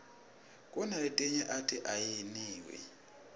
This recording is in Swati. kunaletinye ati ayiniwi